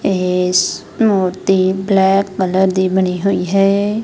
ਏਸ ਇਹ ਮੂਰਤੀ ਬਲੈਕ ਕਲਰ ਦੀ ਬਣੀ ਹੋਈ ਹੈ।